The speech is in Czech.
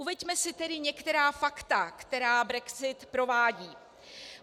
Uveďme si tedy některá fakta, která brexit provází.